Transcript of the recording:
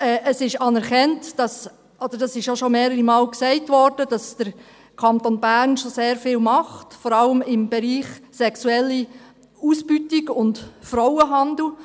Es ist anerkannt – dies wurde auch schon mehrere Male gesagt –, dass der Kanton Bern schon sehr viel macht, vor allem im Bereich sexuelle Ausbeutung und Frauenhandel.